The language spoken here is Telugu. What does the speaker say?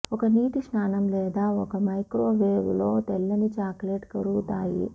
ఒక నీటి స్నానం లేదా ఒక మైక్రోవేవ్ లో తెల్లని చాక్లెట్ కరుగుతాయి